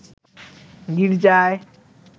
গির্জায়